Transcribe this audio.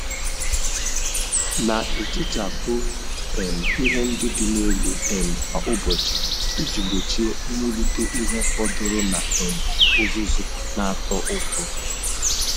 Na-ehichapụ um ihe ndị dị n'elu um kwa ụbọchị iji gbochie mwulite ihe fọdụrụ na um uzuzu na-atọ ụtọ.